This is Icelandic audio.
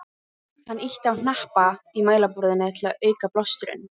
Hann ýtti á hnappa í mælaborðinu til að auka blásturinn.